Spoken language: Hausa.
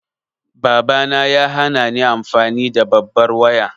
Babana ya hanani amfani da babbar waya.